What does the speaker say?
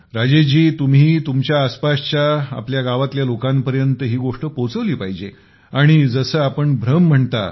राजेश जी तुम्हीही तुमच्या आसपासच्या आपल्या गावातल्या लोकांपर्यंत ही गोष्ट पोहोचवली पाहिजे आणि जसं आपण भ्रम म्हणता